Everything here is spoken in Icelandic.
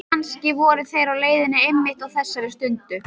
Kannski voru þeir á leiðinni einmitt á þessari stundu.